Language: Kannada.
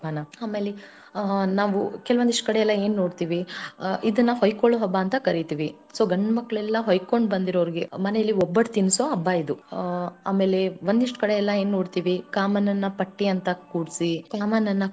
ಹಬ್ಬನ ಆಮೇಲೆ ಕೆಲವೊಂದಿಷ್ಟ ಕಡೆಯಲ್ಲಾ ಏನ ನೋಡ್ತೀವಿ ಇದನ್ನಾ ಹೊಯ್ಕೊಳ್ಳೋ ಹಬ್ಬಾ ಅಂತ ಕರೀತೀವಿ so ಗಂಡ ಮಕ್ಳೆಲ್ಲಾ ಹೊಯ್ಕೊಂಡ್ ಬಂದಿರೋರಿಗೆ ಮನೇಲಿ ಒಬ್ಬಟ್ಟು ತಿನ್ನಸೋ ಹಬ್ಬಾ ಇದು ಆಮೇಲೆ ಒಂದಿಷ್ಟ ಕಡೆ ಎಲ್ಲಾ ಏನ ನೋಡ್ತಿವಿ ಕಾಮಣ್ಣನ ಪಟ್ಟಿ ಅಂತ ಕೂರ್ಸಿ ಕಾಮಣ್ಣನ.